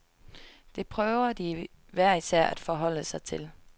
Det prøver de hver især at forholde sig til.